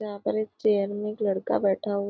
यहाँ पर एक चेयर में एक लड़का बैठा हु--